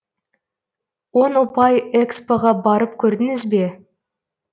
он ұпай экспо ға барып көрдіңіз бе